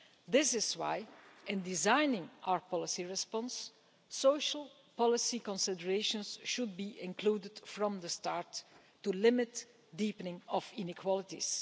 That is why, in designing our policy response, social policy considerations should be included from the start in order to limit the deepening of inequalities.